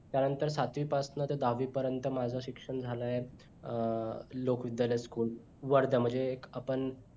त्यानंतर सातवी पासनं ते दहावी पर्यंत माझ शिक्षण झालाय अं लोक विद्दालय school वर्धा मध्ये म्हणजे एक आपण